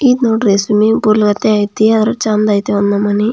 ಇದು ನೋಡ್ರಿ swimming pool ಆದ್ರೆ ಚಂದ್ ಐತೆ ಒಂದ ನಮನಿ.